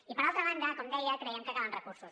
i per altra banda com deia creiem que calen recursos